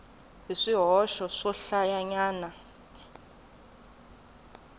ni swihoxo swohlayanyana ni ku